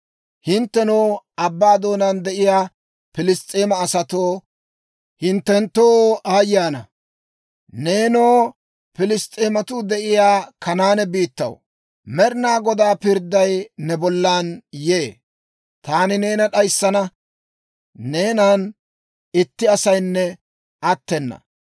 Hinttenoo, abbaa doonaan de'iyaa Piliss's'eema asatoo, hinttenttoo aayye ana! Neenoo, Piliss's'eematuu de'iyaa Kanaane biittaw, Med'inaa Godaa pirdday ne bollan yee. Taani neena d'ayissana; neenan itti asaynne attena.